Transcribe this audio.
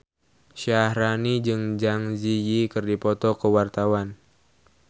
Syaharani jeung Zang Zi Yi keur dipoto ku wartawan